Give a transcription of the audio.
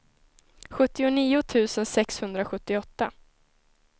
sjuttionio tusen sexhundrasjuttioåtta